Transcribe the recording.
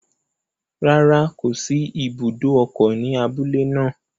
Rárá, kò sí ibùdó ọkọ̀ ní abúlé naa